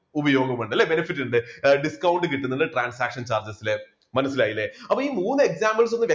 ഉപയോഗമുണ്ട് അല്ലേ? benefit ഉണ്ട്. discount കിട്ടുന്നുണ്ട് transaction target ല് മനസ്സിലായില്ലേ, അപ്പൊ ഈ മൂന്ന് examples ഒന്ന്